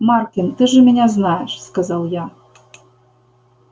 маркин ты же меня знаешь сказал я